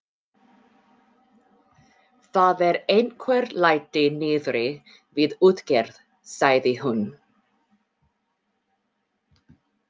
Það eru einhver læti niðri við útgerð, sagði hún.